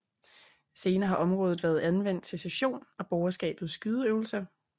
Senere har området været anvendt til session og borgerskabets skydeøvelser